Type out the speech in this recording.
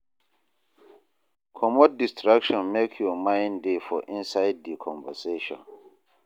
Comot distraction make your mind dey for inside di conversation